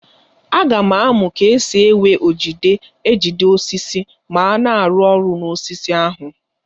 Aga m amụ ka esi ewe ojide ejide osisi ma a na-arụ ọrụ n'osisi ahụ.